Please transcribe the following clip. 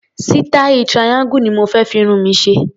Sítáì triangle ni mo fé fi irun mi ṣe.